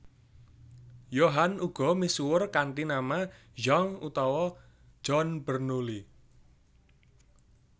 Johann uga misuwur kanthi nama Jean utawa John Bernoulli